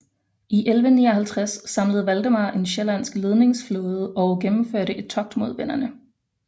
I 1159 samlede Valdemar en sjællandsk ledingsflåde og gennemførte et togt mod venderne